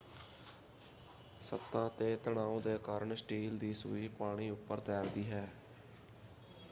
ਸਤ੍ਹਾ 'ਤੇ ਤਣਾਉ ਦੇ ਕਾਰਨ ਸਟੀਲ ਦੀ ਸੂਈ ਪਾਣੀ ਉੱਪਰ ਤੈਰਦੀ ਹੈ।